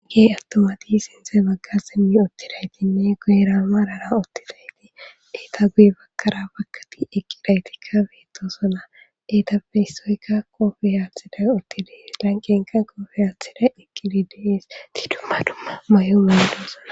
Qii attumati siththe baggi simmidi uttidayttinne guyeera marara uttidaytti etta guyye bagara baggati eqidayiti beetosona. Ettappe issoykka kopiya attidays uttides. Lanqqenkka guufe aatidays eqqidi de7ees. Etti dumma dumma mayo mayidosona.